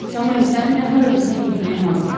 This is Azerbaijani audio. Samuel, səninlə hara desən getməyə hazıram.